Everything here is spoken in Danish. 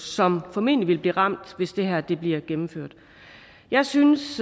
som formentlig vil blive ramt hvis det her bliver gennemført jeg synes